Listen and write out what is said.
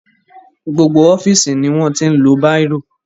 Gbogbo ọ́fíìsì ni wọ́n ti ń lo bírò.